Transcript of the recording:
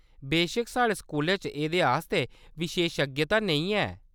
बेशक्क साढ़े स्कूलै च एह्‌‌‌दे आस्तै विशेशज्ञता नेईं है।